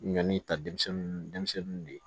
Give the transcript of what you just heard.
Ɲɔni ta denmisɛnninw de ye